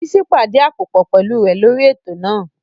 Bísí pàdí àpòpọ̀ pẹ̀lú rẹ̀ lórí ètò náà